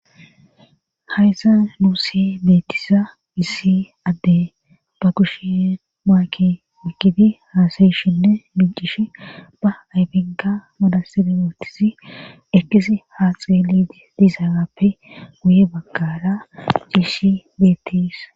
hayza nuusi beettisa issi adde ba kushe maaki mikidi haasayishinne micish ba ayfika madasiderootisi ekisi haaxeeli dizaappe guye baggara ciishi beettisa